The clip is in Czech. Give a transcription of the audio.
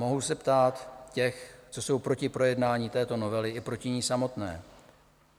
Mohu se ptát těch, co jsou proti projednání této novely i proti ní samotné: